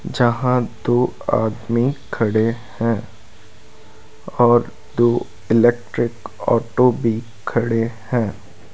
जहां दो आदमी खड़े हैं और दो इलेक्ट्रिक ऑटो भी खड़े हैं।